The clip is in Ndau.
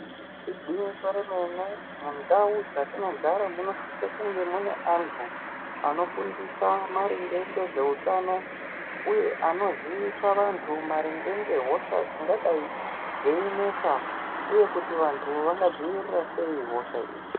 Igwinyiso remene mundau dzatinogara munosise kunge mune antu anofundisa maringe ngezveutano uye anozivise vantu maringe ngehosha dzingadai dzeinesa uye kuti vantu vangadzivirire sei hosha idzi.